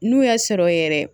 N'u y'a sɔrɔ yɛrɛ